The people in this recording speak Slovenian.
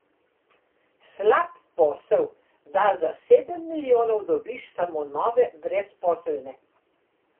Slab posel, da za sedem milijonov dobiš samo nove brezposelne.